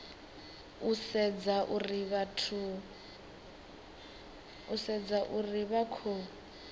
u sedza uri vha khou